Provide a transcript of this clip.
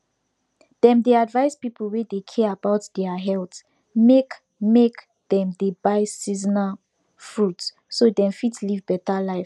dem dey advise people wey dey care about deir health make make dem dey buy seasonal fruit so dem fit live better life